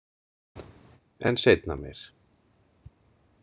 En seinna meir.